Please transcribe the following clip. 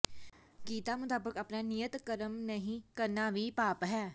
ਗੀਤਾ ਮੁਤਾਬਕ ਆਪਣਾ ਨਿਯਤ ਕਰਮ ਨਹੀਂ ਕਰਨਾ ਵੀ ਪਾਪ ਹੈ